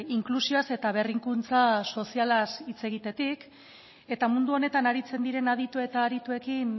inklusioaz eta berrikuntza sozialaz hitz egitetik eta mundu honetan aritzen diren aditu eta arituekin